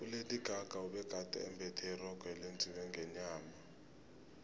ulady gaga ubegade embethe irogo elenziwe ngenyama